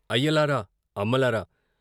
" అయ్యలారా! అమ్మలారా!